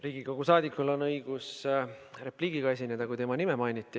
Riigikogu saadikul on õigus repliigiga esineda, kui tema nime mainiti.